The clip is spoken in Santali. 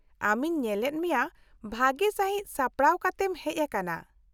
-ᱟᱢᱤᱧ ᱧᱮᱞᱮᱫ ᱢᱮᱭᱟ ᱵᱷᱟᱹᱜᱤ ᱥᱟᱹᱦᱤᱡ ᱥᱟᱯᱲᱟᱣ ᱠᱟᱛᱮᱢ ᱦᱮᱡ ᱟᱠᱟᱱᱟ ᱾